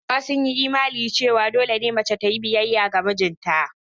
Hausawa sun yi imanin cewa dole ne mace ta yi biyayya ga mijinta.